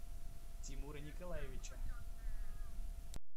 тимура николаевича